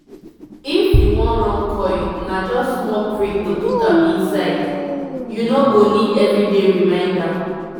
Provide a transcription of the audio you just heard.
if u wan run coil na just small prick to put am inside -- u no go need everyday reminder